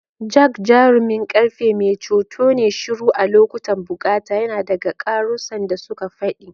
Jack, jarumin ƙarfe, mai ceto ne shiru a lokutan bukata, yana ɗaga karusan da suka faɗi.